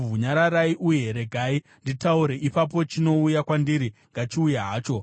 “Nyararai uye regai nditaure; ipapo chinouya kwandiri ngachiuye hacho.